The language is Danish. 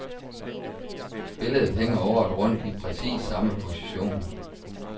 Billedet hænger året rundt i præcis samme position.